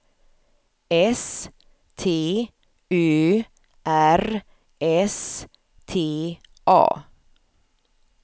S T Ö R S T A